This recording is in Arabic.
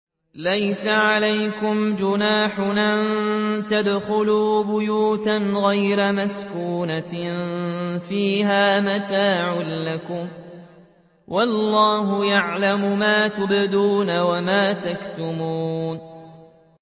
لَّيْسَ عَلَيْكُمْ جُنَاحٌ أَن تَدْخُلُوا بُيُوتًا غَيْرَ مَسْكُونَةٍ فِيهَا مَتَاعٌ لَّكُمْ ۚ وَاللَّهُ يَعْلَمُ مَا تُبْدُونَ وَمَا تَكْتُمُونَ